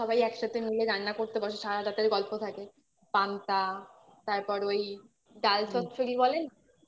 সবাই একসাথে মিলে রান্না করতে বসে সারারাত তাদের গল্প থাকে পান্তা তারপর ওই ডাল চচ্চড়ি বলেন না